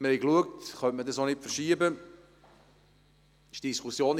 Wir haben geprüft, ob eine Verschiebung möglich wäre.